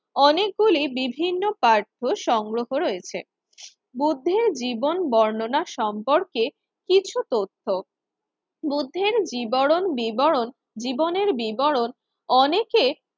অনেকগুলি বিভিন্ন পাঠ্য সংগ্রহ রয়েছে। বুদ্ধের জীবন বর্ণনা সম্পর্কে কিছু তথ্য বুদ্ধের জিবরণ বিবরণ জীবনের বিবরণ অনেকে